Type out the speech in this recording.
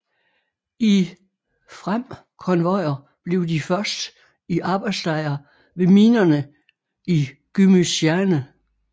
I frem konvojer blev de først i arbejdslejre ved minerne i Gümüşhane